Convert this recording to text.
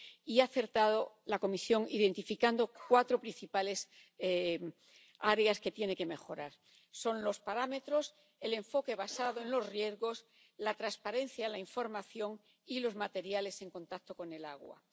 Ha acertado la Comisión identificando cuatro principales áreas que tienen que mejorar los parámetros, el enfoque basado en los riesgos, la transparencia en la información y los materiales en contacto con el agua.